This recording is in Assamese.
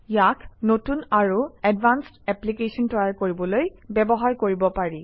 ইয়াক নতুন আৰু এডভান্সড এপ্লিকেশ্যন তৈয়াৰ কৰিবলৈ ব্যৱহাৰ কৰিব পাৰি